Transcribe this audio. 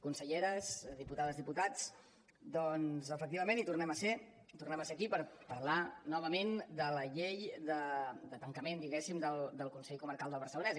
conselleres diputades diputats doncs efectivament hi tornem a ser tornem a ser aquí per parlar novament de la llei de tancament diguéssim del consell comarcal del barcelonès